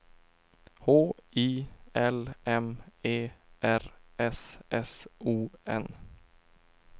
H I L M E R S S O N